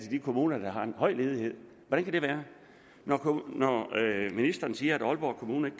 de kommuner der har en høj ledighed hvordan kan det være ministeren siger at aalborg kommune